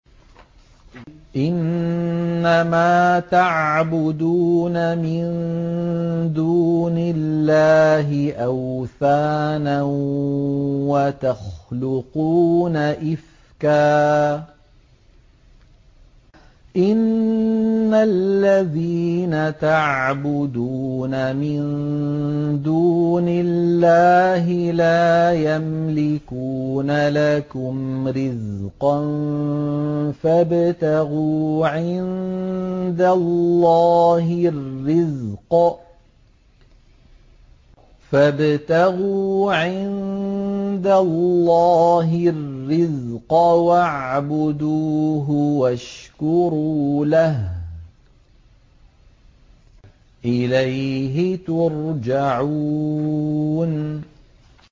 إِنَّمَا تَعْبُدُونَ مِن دُونِ اللَّهِ أَوْثَانًا وَتَخْلُقُونَ إِفْكًا ۚ إِنَّ الَّذِينَ تَعْبُدُونَ مِن دُونِ اللَّهِ لَا يَمْلِكُونَ لَكُمْ رِزْقًا فَابْتَغُوا عِندَ اللَّهِ الرِّزْقَ وَاعْبُدُوهُ وَاشْكُرُوا لَهُ ۖ إِلَيْهِ تُرْجَعُونَ